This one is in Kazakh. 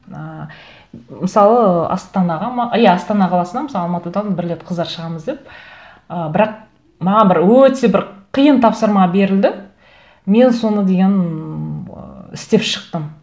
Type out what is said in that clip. ыыы мысалы астанаға ма иә астана қаласына мысалы алматыдан бір рет қыздар шығамыз деп ы бірақ маған бір өте бір қиын тапсырма берілді мен соны деген ы істеп шықтым